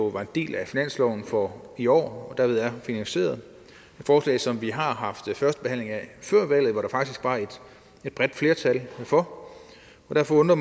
var en del af finansloven for i år og derved er finansieret et forslag som vi har haft førstebehandling af før valget og hvor der faktisk var et bredt flertal for og derfor undrer